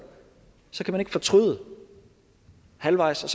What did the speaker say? så kan man ikke fortryde halvvejs og